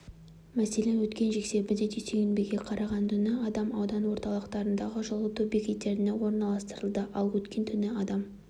мәселен өткен жексенбіден дүйсенбіге қараған түні адам аудан орталықтарындағы жылыту бекеттеріне орналастырылды ал өткен түні адам